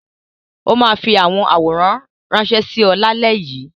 Ó máa fi àwọn àwòrán ránṣẹ́ sí ọ lálẹ́ yìí.